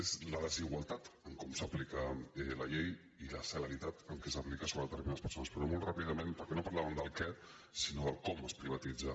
és la desigualtat com s’aplica la llei i la celeritat amb què s’aplica sobre determinades persones però molt ràpi·dament perquè no parlàvem del què sinó del com es privatitza